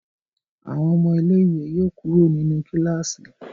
Àwọn ọmọ ilé ìwé yóò kúrò nínú kilasi.